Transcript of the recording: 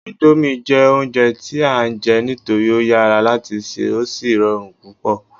indomie jé ounjẹ ti a n je nitori o yara lati ṣe o sí rọrùn púpò